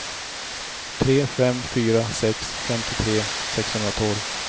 tre fem fyra sex femtiotre sexhundratolv